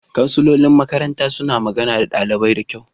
Kansilolin makaranta suna magana da ɗalibai da kyau.